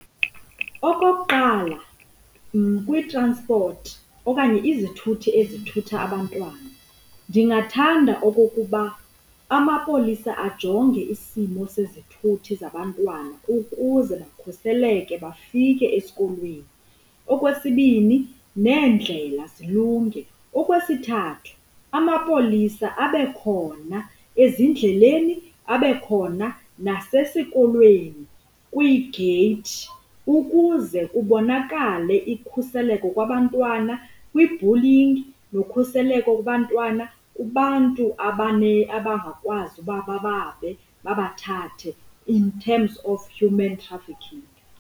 Okokuqala, kwiitransipothi okanye izithuthi ezithutha abantwana, ndingathanda okokuba amapolisa ajonge isimo sezithuthi zabantwana ukuze bakhuseleke bafike esikolweni. Okwesibini, neendlela zilunge. Okwesithathu, amapolisa abekhona ezindleleni, abekhona nasesikolweni kwiigeyithi ukuze kubonakale ikhuseleo kwabantwana kwi-bullying nokhuseleko kubantwana kubantu abangakwazi uba bababe, babathathe in terms of human trafficking.